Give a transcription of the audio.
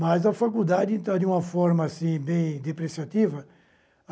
Mas a faculdade está de uma forma assim bem depreciativa.